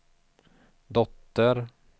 dotter